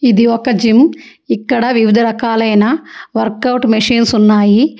ఇది ఒక జిమ్ ఇక్కడ వివిధ రకాలైన వర్క్ ఔట్ మిషన్స్ ఉన్నాయి.